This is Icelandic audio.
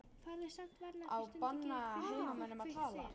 Farðu samt varlega því stundum gerir hvíldin fólk veikt, segir